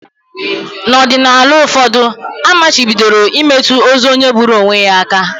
N’ọdịnala ụfọdụ, a machibidoro imetụ ozu onye gburu onwe ya aka